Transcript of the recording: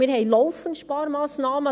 Wir haben laufend Sparmassnahmen.